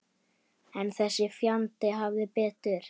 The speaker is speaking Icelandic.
En þessi fjandi hafði betur.